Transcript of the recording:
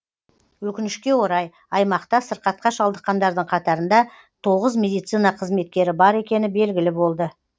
өкінішке орай аймақта сырқатқа шалдыққандардың қатарында тоғыз медицина қызметкері бар екені белгілі болды